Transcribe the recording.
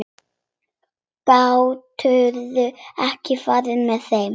Geturðu ekki farið með þeim?